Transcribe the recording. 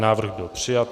Návrh byl přijat.